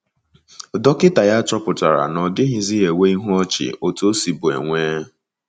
Dọkịta ya chọpụtara na ọ dịghịzi enwe ihu ọchị otú o sibu enwe.